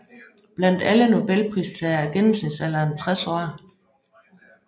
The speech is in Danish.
Blandt alle Nobelpristagere er gennemsnitsalderen 60 år